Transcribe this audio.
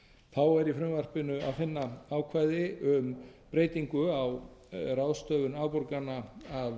þá er í frumvarpinu að finna ákvæði um ráðstöfun afborgana af kröfum á þann veg að